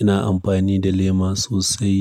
Ina amfani da lema sosai.